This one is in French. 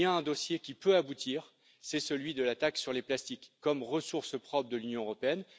Il y a un dossier qui peut aboutir, c'est celui de la taxe sur les plastiques comme ressource propre de l'Union européenne.